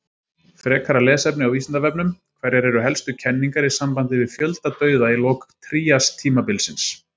Frekara lesefni á Vísindavefnum: Hverjar eru helstu kenningar í sambandi við fjöldadauða í lok tríastímabilsins?